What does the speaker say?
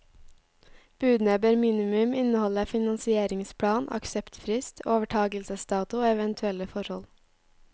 Budene bør minimum inneholde finansieringsplan, akseptfrist, overtagelsesdato og eventuelle forhold.